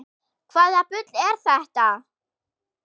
Hvaða bull er þetta?